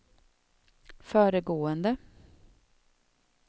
föregående